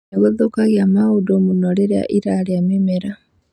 Nĩ gũthũkagia maũndũ mũno rĩrĩa ĩrarĩa mĩmera